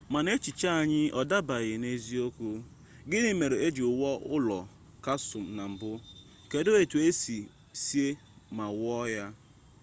mana echiche anyị ọ dabeere n'eziokwu gini mere eji wuo ụlọ kasụl na mbụ kedụ otu esi see ma wuo ha